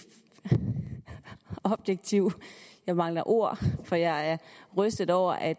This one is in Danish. objektiv jeg mangler ord for jeg er rystet over at